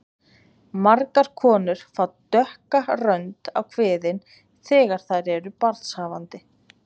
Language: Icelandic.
Margar konur fá dökka rönd á kviðinn þegar þær eru barnshafandi.